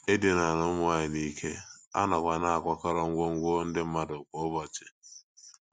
E dinara ụmụ nwanyị n’ike, a nọkwa na - akwakọrọ ngwongwo ndị mmadụ kwa ụbọchị.